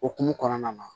Okumu kɔnɔna na